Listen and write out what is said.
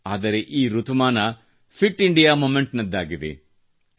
ಆದರೆ ಈ ಋತುಮಾನ ಫಿಟ್ ಇಂಡಿಯಾ ಮೊಮೆಂಟ್ನದ್ದಾಗಿದೆ